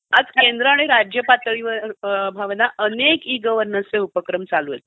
आज केंद्र आणि राज्य पातळीवर भावना अनेक ई गव्हर्नन्सचे उपक्रम चालू आहेत.